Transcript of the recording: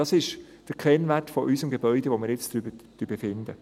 Dies ist der Kennwert des Gebäudes, über das wir jetzt befinden.